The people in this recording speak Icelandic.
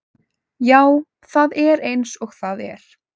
Já, það er eins og það er.